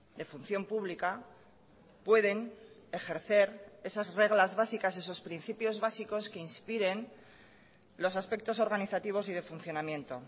de función pública pueden ejercer esas reglas básicas esos principios básicos que inspiren los aspectos organizativos y de funcionamiento